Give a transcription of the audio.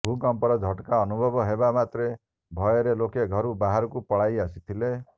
ଭୂକମ୍ପର ଝଟକା ଅନୁଭବ ହେବା ମାତ୍ରେ ଭୟରେ ଲୋକେ ଘରୁ ବାହାରକୁ ପଳାଇ ଆସିଥିଲେ